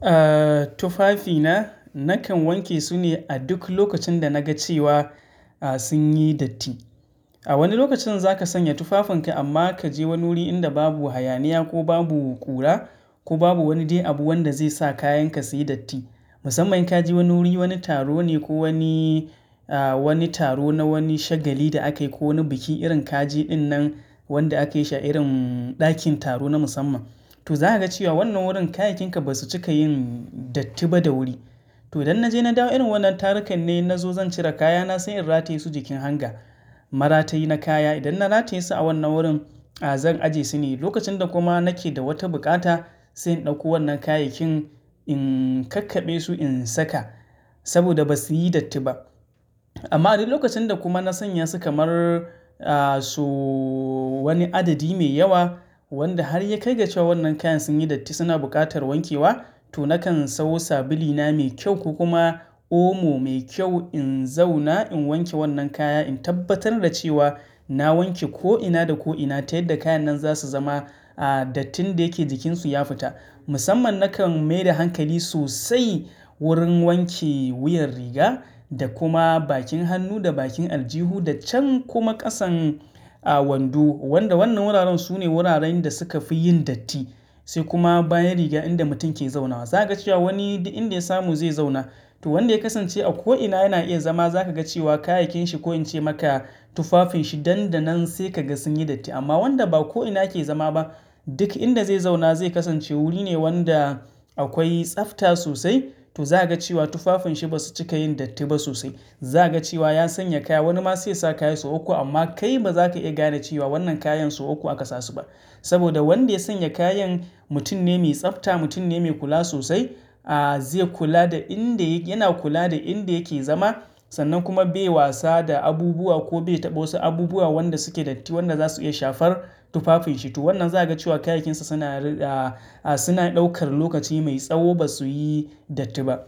Eh tufafina nakan wanke su ne a duk lokacin da na ga cewa sun yi datti. A wani lokacin za ka sanya tufafinka amma ka je wani wuri inda babu hayaniya ko babu ƙura ko babu wani dai abu wanda zai sa kayanka suyi datti. Musamman in ka je wani wuri, wani taro ne ko wani, wani taro na wani shagali da akayi ko wani biki irin kaje din nan wanda akayi shi irin ɗakin taro na musamman. To za ka ga cewa wannan wurin kayayyakin ka ba su cika yin datti ba da wuri. To idan na je na dawo irin wannan tarukan ne na zo zan cire kayana sai in rataye su jikin hanga. Maratayi na kaya idan na rataye su a wannan wurin zan ajiye su ne lokacin da kuma nake da wata bukata sai in ɗauko wannan kayakin in kakkabe su in saka saboda ba su yi datti ba. Amma a duk lokacin da kuma na sanya su kamar so wani adadi mai yawa wanda har ya kai ga cewa wannan kayan sun yi datti suna buƙatar wankewa, to nakan sawo sabilina mai kyau ko kuma omo mai kyau in zauna in wanke wannan kaya in tabbatar da cewa na wanke ko'ina da ko'ina ta yadda kayan nan za su zama dattin da yake jikinsu ya fita. Musamman nakan maida hankali sosai wurin wanke wuyan riga da kuma bakin hannu da bakin aljihu da can kuma ƙasan a wando. Wanda wannan wuraren sune wuraren da suka fi yin datti, sai kuma bayan riga inda mutum ke zaunawa. Za ka ga cewa wani duk inda ya samu zai zauna. To wanda ya kasance a ko'ina yana iya zama za ka ga cewa kayayyakin shi ko in ce maka tufafin shi nan da nan sai ka ga sun yi datti. Amma wanda ba ko'ina yake zama ba duk inda zai zauna zai kasance wuri ne wanda akwai tsafta sosai. To za ka ga cewa tufafin shi ba su cika yin datti ba sosai. Za ka ga cewa ya sanya kaya wani ma sai ya saka kaya sau uku amma kai ba za ka iya gane cewa wannan kayan sau uku aka sa su ba. Saboda wanda ya sanya kayan mutum ne mai tsafta, mutum ne mai kula sosai. Zai kula da inda yana kula da inda yake zama sannan kuma bai wasa da abubuwa ko bai taɓa wasu abubuwa wanda suke datti wanda za su iya shafar tufafin shi. To wannan za ka ga cewa kayayyakin sa suna a suna ɗaukar lokaci mai tsawo ba su yi datti ba.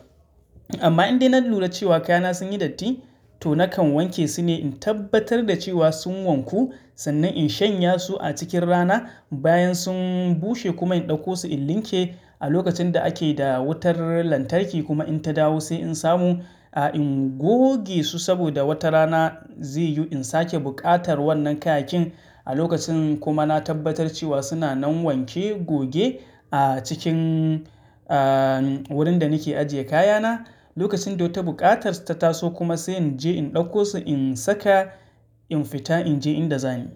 Amma indai na lura cewa kayana sun yi datti to nakan wanke su ne in tabbatar da cewa sun wanku sannan in shanya su a cikin rana bayan sun bushe kuma in ɗauko su in linke a lokacin da ake da wutar lantarki kuma in ta dawo sai in samu a ingoge su saboda wata rana zai yiwu in sake buƙatar wannan kayayyakin. A lokacin kuma na tabbatar cewa suna nan wanke goge a cikin wurin da nake ajiye kayana. Lokacin da wata buƙatar su ta taso kuma sai in je in ɗauko su in saka in fita in je inda zanyi.